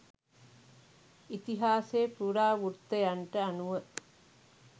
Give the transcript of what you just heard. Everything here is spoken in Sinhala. ඉතිහාසය පුරාවෘත්තයන්ට අනුව